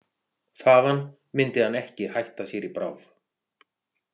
Þaðan myndi hann ekki hætta sér í bráð.